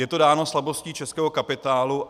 Je to dáno slabostí českého kapitálu.